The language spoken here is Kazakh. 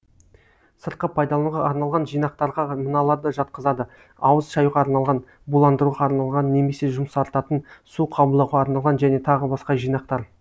сыртқы пайдалануға арналған жинақтарға мыналарды жатқызады ауыз шаюға арналған буландыруға арналған немесе жұмсартатын су қабылдауға арналған және тағы басқа жинақтар